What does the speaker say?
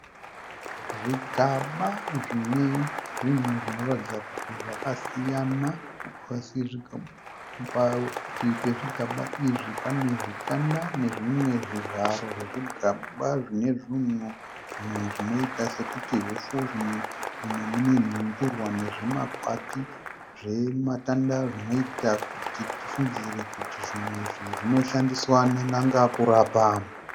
Zvigaba zvine zvinhu zvinoratidza kuti zvakasiyana ,parutivi pezvigaba izvi pane zvitanda nezvimwe zvivharo zvezvigaba zvine zvinhu, zvimwe zvinoita sekuti hupfu mumwe mune nhundurwa nezvimakwati zvematanda, zvinoita kuti tifungidzire kuti zvinoshandiswa nen'anga mukurapa